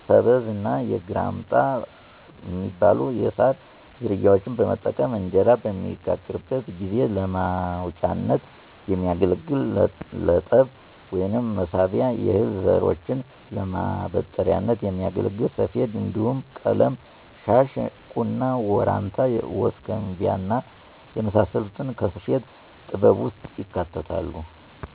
ሰበዝ እና ግራምጣ ሚባሉ የሳር ዝርያዎችን በመጠቀም እንጀራ በሚጋገርበት ጊዜ ለማውጫነት የሚያገለግል ለጠብ ወይም መሳቢያ፣ የእህል ዘሮችን ለማበጠሪያነት ሚያገለግል ሰፌድ እንዲሁም ቀለም- ሻሽ፣ ቁና፣ ወራንታ፣ ወስከንቢያ እና የመሳሰሉት ከስፌት ጥበብ ውስጥ ይካተታሉ።